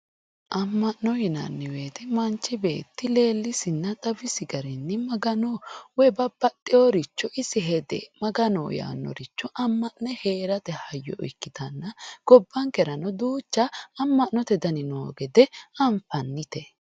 Ama'no yinnanni woyte manchi beetti leelisinna xawisi garinni Magano woyi babbaxeworicho isi hede Maganoho yee amane heerate hayyo ikkittanna gobbankerano duucha ama'note danni noo gede anfanite.